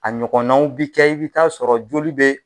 A ɲɔgɔnaw bi kɛ i bi taa sɔrɔ joli be